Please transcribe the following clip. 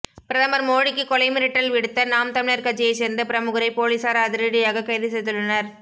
பிரதமர் மோடிக்கு கொலை மிரட்டல் விடுத்த நாம் தமிழர் கட்சியை சேர்ந்த பிரமுகரை போலீசார் அதிரடியாக கைது செய்துள்ளனர்